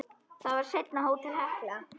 Það var seinna Hótel Hekla.